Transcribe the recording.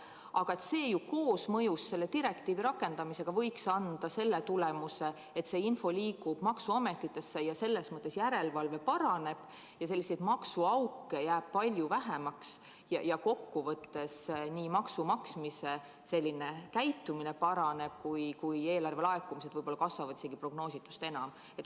Aga koosmõjus selle direktiivi rakendamisega võiks see anda tulemuse, et see info liigub maksuametitesse, selles mõttes järelevalve paraneb, selliseid maksuauke jääb palju vähemaks ja kokkuvõttes nii maksukäitumine paraneb kui ka eelarvelaekumised võib‑olla kasvavad prognoositust enam.